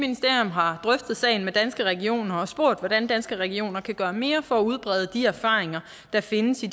har drøftet sagen med danske regioner og spurgt hvordan danske regioner kan gøre mere for at udbrede de erfaringer der findes i